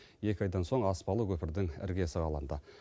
екі айдан соң аспалы көпірдің іргесі қаланды